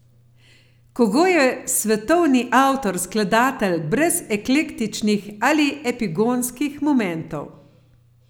Kogoj je svetovni avtor, skladatelj brez eklektičnih ali epigonskih momentov.